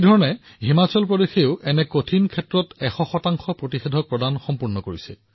একেদৰে হিমাচলেও এনে অসুবিধাত ১০০ শতাংশ পালি প্ৰদানৰ কাম কৰিছে